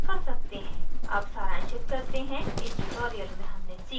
अब सारांशित करते हैं इस tutorial में हमने सीखा